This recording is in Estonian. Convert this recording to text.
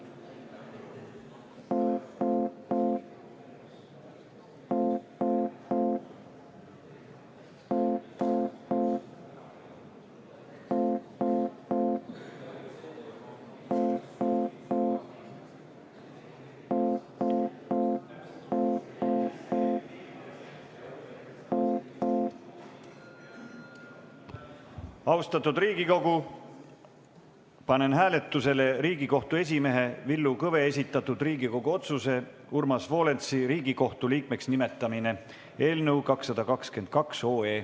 Austatud Riigikogu, panen hääletusele Riigikohtu esimehe Villu Kõve esitatud Riigikogu otsuse "Urmas Volensi Riigikohtu liikmeks nimetamine" eelnõu 222.